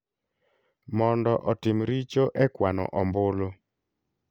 mondo otim richo e kwano ombulu.